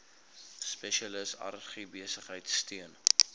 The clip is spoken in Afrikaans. spesialis agribesigheid steun